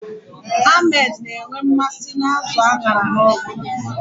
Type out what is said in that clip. Ahmed na-enwe mmasị n'azụ a ṅara n'ọkụ